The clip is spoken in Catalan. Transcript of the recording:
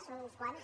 són uns quants